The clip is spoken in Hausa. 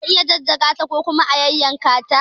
Za a iya jajjaga ta ko kuma a yayyanka ta.